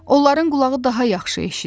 Onların qulağı daha yaxşı eşidir.